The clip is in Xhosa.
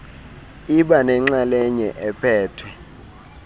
iba nenxalenye ephethwe